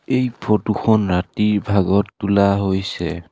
এই ফটো খন ৰাতিৰ ভাগত তোলা হৈছে।